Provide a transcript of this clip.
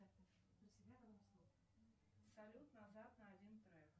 салют назад на один трек